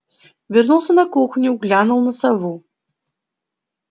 вернулся на кухню глянул на сову